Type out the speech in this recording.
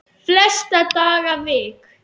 Flesta daga vik